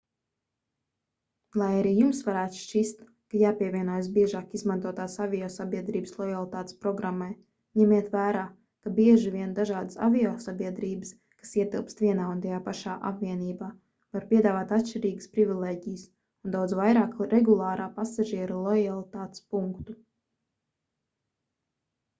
lai arī jums varētu šķist ka jāpievienojas biežāk izmantotās aviosabiedrības lojalitātes programmai ņemiet vērā ka bieži vien dažādas aviosabiedrības kas ietilpst vienā un tajā pašā apvienībā var piedāvāt atšķirīgas privilēģijas un daudz vairāk regulārā pasažiera lojalitātes punktu